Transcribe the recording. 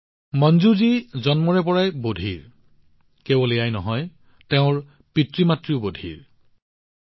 মঞ্জুজী জন্মৰ পৰাই বধিৰ কেৱল এয়াই নহয় তেওঁৰ পিতৃমাতৃৰ জীৱনতো একেই পৰিস্থিতি হৈছিল